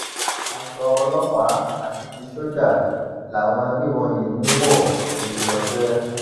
aṣọ ọlọpàá àti ti sójà làwọn agbébọn yìí ń wọn fi ṣọṣẹ